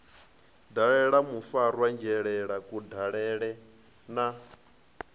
dalela mufarwa dzhele kudalele na